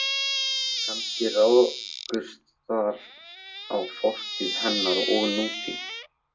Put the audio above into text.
Kannski rákust þar á fortíð hennar og nútíð.